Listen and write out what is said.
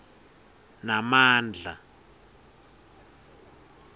namandla